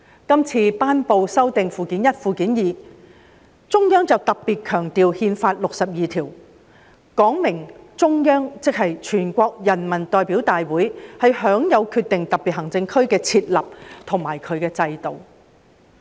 今次頒布修訂《基本法》附件一及附件二，中央便特別強調《憲法》第六十二條，說明中央即全國人大有權決定特別行政區的設立和制度。